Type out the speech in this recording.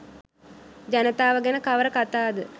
ජනතාව ගැන කවර කතාද?